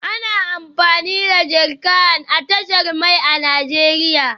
Ana amfani da jerrycan a tashar mai a Najeriya